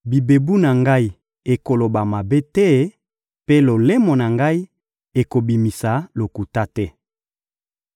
bibebu na ngai ekoloba mabe te, mpe lolemo na ngai ekobimisa lokuta te.